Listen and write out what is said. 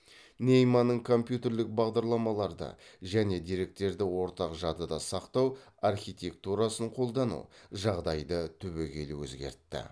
нейманның компьютерлік бағдарламаларды және деректерді ортақ жадыда сақтау архитектурасын қолдану жағдайды түбегейлі өзгертті